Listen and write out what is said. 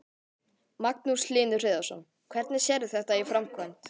Magnús Hlynur Hreiðarsson: Hvernig sérðu þetta í framkvæmd?